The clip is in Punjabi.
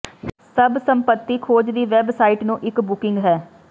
ਸਭ ਸੰਪਤੀ ਖੋਜ ਦੀ ਵੈੱਬਸਾਈਟ ਨੂੰ ਇੱਕ ਬੁਕਿੰਗ ਹੈ